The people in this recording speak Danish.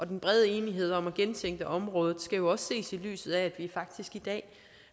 den brede enighed om at gentænke området skal jo også ses i lyset af at vi faktisk i dag